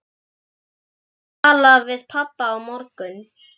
Við skulum tala við pabba á morgun.